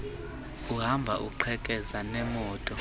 uhamba uqhekeza neemoto